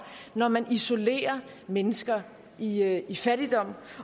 når man isolerer mennesker i i fattigdom